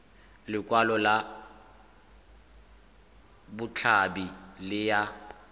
lekwalo la botshabi le ya